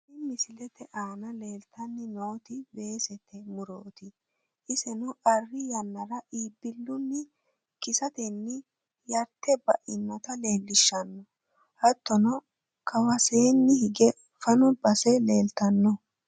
Tini misilete aana leeltanni nooti weesete murooti, iseno arri yannara iibbillunni kisante yarte bainota leellishshanno, hattono kawaseenni higge fano base leltanno.